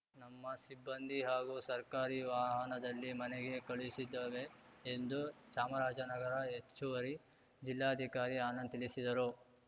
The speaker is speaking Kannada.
ನಮ್ಮ ಸಿಬ್ಬಂದಿ ಹಾಗೂ ಸರ್ಕಾರಿ ವಾಹನದಲ್ಲಿ ಮನೆಗೆ ಕಳುಹಿಸಿದ್ದೇವೆ ಎಂದು ಚಾಮರಾಜನಗರ ಹೆಚ್ಚುವರಿ ಜಿಲ್ಲಾಧಿಕಾರಿ ಆನಂದ್‌ ತಿಳಿಸಿದರು